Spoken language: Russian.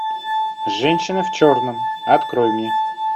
женщина в черном открой мне